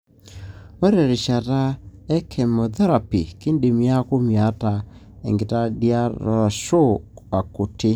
Ore terishata e chemotherapy kindim niaku miata enkitadiataarashu akuti.